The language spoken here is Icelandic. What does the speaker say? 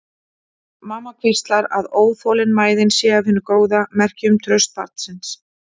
Mamma hvíslar að óþolinmæðin sé af hinu góða, merki um traust barnsins.